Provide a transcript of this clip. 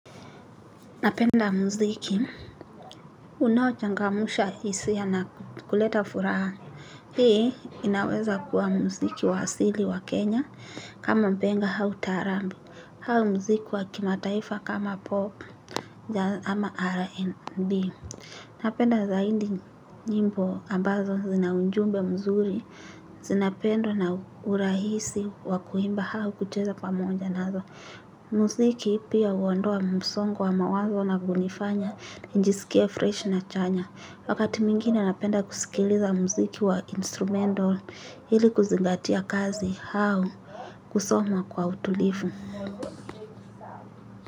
Napenda muziki. Unaochangamsha hisia na kuleta furaha. Hii inaweza kuwa muziki wa asili wa Kenya. Kama nenga hau taraarabu au muziki wa kimataifa kama pop. Ama rnb. Napenda zaidi nyimbo ambazo zinaunjumbe mzuri. Zinapendwa ona urahisi wakuimba au kucheza pamoja nazo. Muziki pia huondoa msongo wa mawazo na kunifanya nijiskie freshi na chanya wakati mwengine napenda kusikiliza muziki wa instrumental ili kuzingatia kazi au kusoma kwa utulivu.